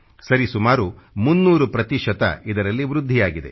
ಸರಿ ಸುಮಾರು 300 ಪ್ರತಿಶತ ಇದರಲ್ಲಿ ವೃದ್ಧಿಯಾಗಿದೆ